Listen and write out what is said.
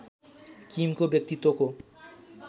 किमको व्यक्तित्वको